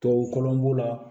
Tubabu b'o la